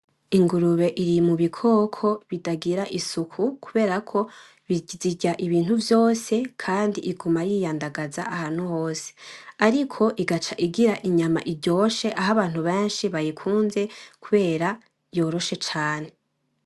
Ingurube iri mubikoko bitagira isuku kubera ko zirya ibintu vyose kandi iguma yiyandagaza ahantu hose ariko igaca igira inyama iryoshe aho abantu benshi bayikunze kubera yoroshe cane